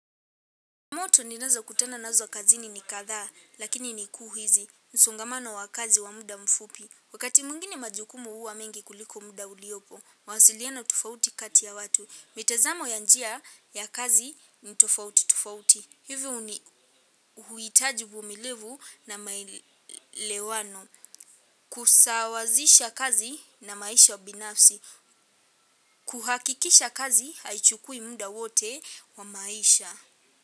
Moto ni nazo kutana nazo kazi ni nikadhaa, lakini ni kuhizi. Msongamano wa kazi wa muda mfupi. Wakati mwingine majukumu huwa mengi kuliko muda uliopo, mawasiliano tofauti kati ya watu. Mitazamo ya njia ya kazi ni tofauti tofauti. Hivyo huitaji uvumilivu na maelewano. Kusawazisha kazi na maisha wa binafsi. Kuhakikisha kazi haichukui muda wote wa maisha.